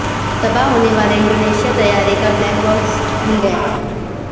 تباہ ہونیوالے انڈونیشی طیارے کا بلیک باکس مل گیا